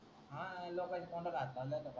तोंडाला हात लावणार न